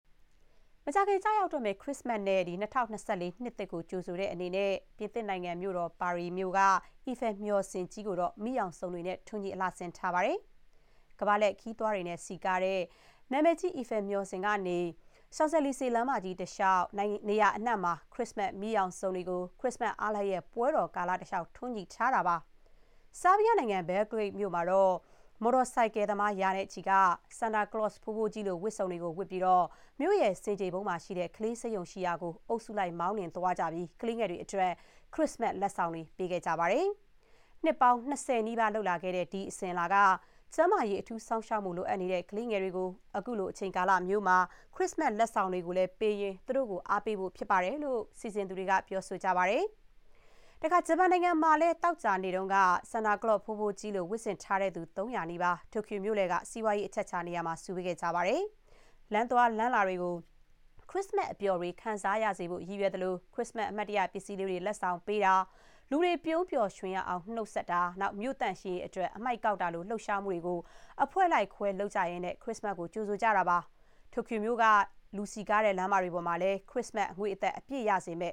မကြာခင် ကျရောက်တော့မယ့် ခရစ္စမတ်နဲ့ ၂၀၂၄ နှစ်သစ်ကို ကြိုဆိုတဲ့အနေနဲ့ ပြင်သစ်နိုင်ငံ မြို့တော် ပါရီမြို့တော်က အီဖယ် မျှော်စင်ကြီးကို မီးရောင်စုံတွေနဲ့ အလှဆင်ထားပါတယ်။ ကမ္ဘာလှည့်ခရီးသွားတွေနဲ့ စည်ကားတဲ့ နာမည်ကြီး အီဖယ်မျှော်စင်ကြီး ကနေ Champs Elysees လမ်းမကြီးတလျှောက် နေရာအနှံ့မှာ ခရစ္စမတ်မီးရောင်စုံတွေကို ခရစ္စမတ် အားလပ်ရက် ပွဲတော်ကာလတလျှောက် ထွန်းညှိထားတာပါ။ ဆားဘီးယားနိုင်ငံ Belgrade မြို့မှာတော့ မော်တော်ဆိုင်ကယ်သမား ရာနဲ့ချီက စန်တာကလော့ ဘိုးဘိုးကြီးလို ဝတ်စုံတွေဝတ်ပြီး မြို့ဆင်ခြေဖုန်မှာ ရှိတဲ့ ကလေးဆေးရုံရှိရာကို အုပ်စုလိုက်မောင်းသွားပြီး ကလေးငယ်တွေအတွက် ခရစ္စမတ်လက်ဆောင်တွေ ပေးခဲ့ကြပါတယ်။ နှစ်ပေါင်း ၂၀ နီးပါး လုပ်လာခဲ့တဲ့ ဒီအစဥ်အလာက ကျန်းမာရေး အထူးစောင့်ရှောက်မှုလိုအပ်နေတဲ့ ကလေးငယ်တွေကို ခုလိုအချိန်မှာ ခရစ္စမတ် လက်ဆောင်တွေပေးရင်း သူတို့ကို အားပေးဖို့ဖြစ်တယ်လို့ ပွဲစီစဥ်သူတွေက ပြောပါတယ်။ ဂျပန်နိုင်ငံမှာလည်း သောကြာနေ့က စန်တာကလော့ ဘိုးဘိုးကြီးလို ဝတ်ဆင်ထားသူ ၃၀၀ နီးပါး တိုကျိုမြို့လယ်က စီးပွားရေးအချက်အချာ နေရာမှာ စုဝေးခဲ့ကြပါတယ်။ လမ်းသွားလမ်းလာတွေကို ခရစ္စမတ်အပျော်တွေ ခံစားရစေဖို့ ရည်ရွယ်သလို ခရစ္စမတ် အမှတ်တရပစ္စည်းလေးတွေ လက်ဆောင်ပေးတာ၊ လူတွေ ပြုံးပျော်ရွှင်ရအောင် နှုတ်ဆက်တာ၊ မြို့သန့်ရှင်းရေးအတွက် အမှိုက်ကောက်တာလို လှုပ်ရှားမှုတွေကို အဖွဲ့လိုက်ခွဲ လုပ်ကြရင်း ခရစ္စမတ်ကို ကြိုဆိုကြတာပါ။ တိုကျိုမြို့တော်က လူစည်ကားတွေ လမ်းမတွေမှာလည်း ခရစ္စမတ်အငွေ့အသက် အပြည့်ရစေမ